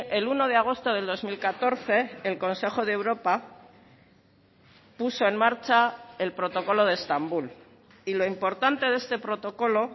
el uno de agosto del dos mil catorce el consejo de europa puso en marcha el protocolo de estambul y lo importante de este protocolo